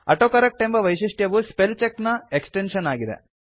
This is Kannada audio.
ಆಟೋಕರೆಕ್ಟ್ ಎಂಬ ವೈಶಿಷ್ಟ್ಯವು ಸ್ಪೆಲ್ ಚೆಕ್ ನ ಎಕ್ಸ್ಟೆನ್ಶನ್ ಆಗಿದೆ